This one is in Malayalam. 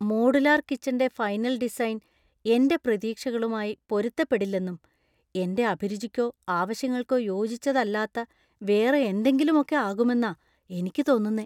മോഡുലാർ കിച്ചന്‍റെ ഫൈനൽ ഡിസൈൻ എന്‍റെ പ്രതീക്ഷകളുമായി പൊരുത്തപ്പെടില്ലെന്നും, എന്‍റെ അഭിരുചിക്കോ ആവശ്യങ്ങൾക്കോ യോജിച്ചതല്ലാത്ത വേറെ എന്തെങ്കിലുമൊക്കെ ആകുമെന്നാ എനിക്ക് തോന്നുന്നേ.